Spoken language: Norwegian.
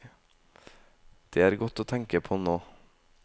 Det er godt å tenke på, nå.